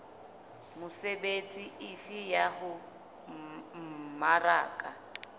mesebetsi efe ya ho mmaraka